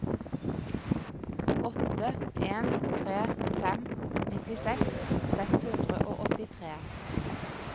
åtte en tre fem nittiseks seks hundre og åttitre